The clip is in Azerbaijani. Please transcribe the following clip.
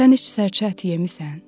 Sən heç sərçə əti yemisan?